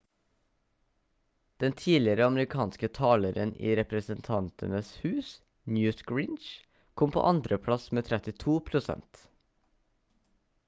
den tidligere amerikanske taleren i representantenes hus newt gingrich kom på andreplass med 32 prosent